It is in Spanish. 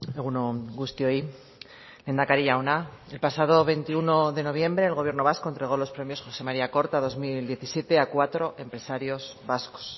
egun on guztioi lehendakari jauna el pasado veintiuno de noviembre el gobierno vasco entregó los premios joxe maría korta dos mil diecisiete a cuatro empresarios vascos